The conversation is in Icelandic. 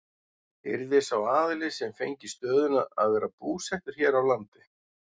Yrði sá aðili sem fengi stöðuna að vera búsettur hér á landi?